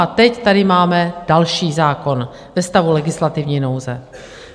A teď tady máme další zákon ve stavu legislativní nouze.